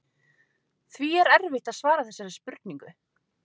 Því er erfitt að svara þessari spurningu.